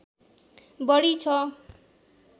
बढी छ